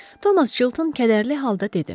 Thomas Chilton kədərli halda dedi: